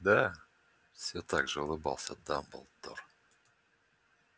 да все так же улыбался дамблдор